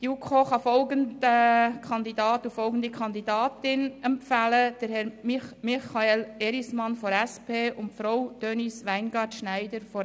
Die JuKo kann folgenden Kandidaten und folgende Kandidatin empfehlen: Herr Michael Erismann, SP, und Frau Denise Weingart-Schneider, SVP.